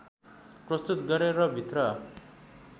प्रस्तुत गरे र भित्र